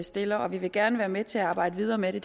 stiller og vi vil gerne være med til at arbejde videre med det